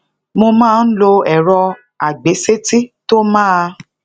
mo máa ń lo èrọ agbeseti to maa